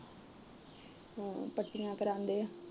ਹੋਰ ਪੱਟੀਆਂ ਕਰਾਂਦੇ ਏ